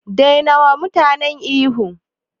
Dai nawa mutane ihu